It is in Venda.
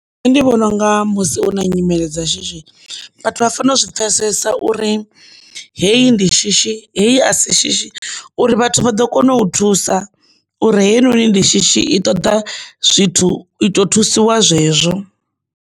Nṋe ndi vhona unga musi u na nyimele dza shishi vhathu vha fanela u zwi pfhesesa uri heyi ndi shishi heyi asi shishi uri vhathu vha ḓo kona u thusa uri heinoni ndi shishi i ṱoḓa zwithu i to thusiwa zwezwo.